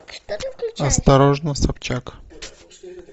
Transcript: осторожно собчак